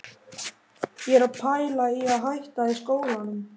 Ég er að pæla í að hætta í skólanum.